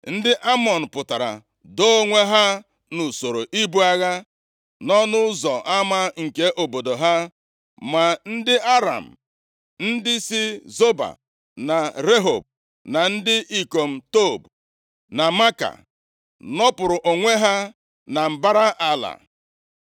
Ndị Amọn pụtara doo onwe ha nʼusoro ibu agha, nʼọnụ ụzọ ama nke obodo ha. Ma ndị Aram, ndị si Zoba na Rehob, na ndị ikom Tob na Maaka, nọpụrụ onwe ha na mbara ala.